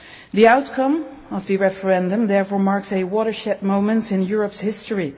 The outcome of the referendum therefore marks a watershed moment in Europe's history.